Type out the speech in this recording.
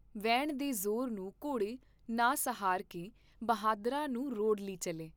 ਵਹਿਣ ਦੇ ਜ਼ੋਰ ਨੂੰ ਘੋੜੇ ਨਾ ਸਹਾਰ ਕੇ ਬਹਾਦਰਾਂ ਨੂੰ ਰੋੜ੍ਹ ਲਿ ਚੱਲੇ।